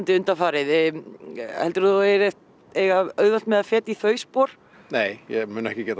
undanfarið heldurðu að þú eigir auðvelt með að feta í þau spor nei ég mun ekki gera